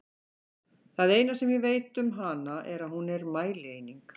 Það eina sem ég veit um hana er að hún er mælieining!